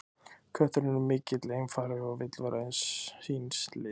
Kötturinn er mikill einfari og vill vera eins síns liðs.